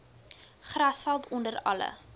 grasveld onder alle